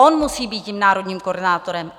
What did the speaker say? On musí být tím národním koordinátorem.